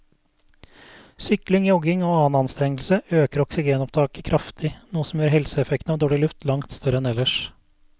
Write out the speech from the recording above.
Sykling, jogging og annen anstrengelse øker oksygenopptaket kraftig, noe som gjør helseeffekten av dårlig luft langt større enn ellers.